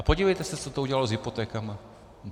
A podívejte se, co to udělalo s hypotékami.